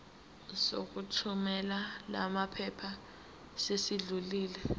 sokuthumela lamaphepha sesidlulile